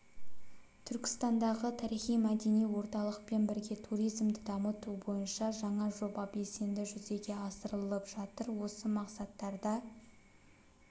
түркістандағы тарихи-мәдени орталықпен бірге туризмді дамыту бойынша жаңа жоба белсенді жүзеге асырылып жатыр осы мақсаттарда